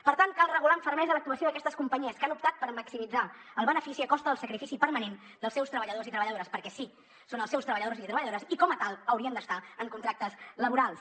per tant cal regular amb fermesa l’actuació d’aquestes companyies que han optat per maximitzar el benefici a costa del sacrifici permanent dels seus treballadors i treballadores perquè sí són els seus treballadors i treballadores i com a tals haurien d’estar amb contractes laborals